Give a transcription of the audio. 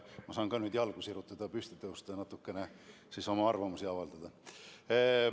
Ma saan ka nüüd jalgu sirutada, püsti tõusta ja natukene oma arvamust avaldada.